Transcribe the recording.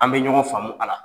An bɛ ɲɔgɔn faamumu a la.